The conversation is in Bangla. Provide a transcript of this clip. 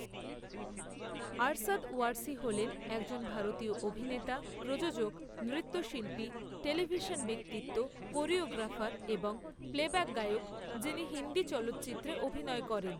আরশাদ ওয়ারসি হলেন একজন ভারতীয় অভিনেতা, প্রযোজক, নৃত্যশিল্পী, টেলিভিশন ব্যক্তিত্ব, কোরিওগ্রাফার এবং প্লেব্যাক গায়ক যিনি হিন্দি চলচ্চিত্রে অভিনয় করেন।